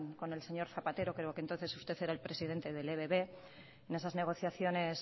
con el señor zapatero pero que entonces usted era el presidente del ebb en esas negociaciones